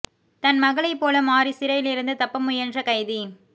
தன் மகளைப் போல மாறி சிறையில் இருந்து தப்ப முயன்ற கைதி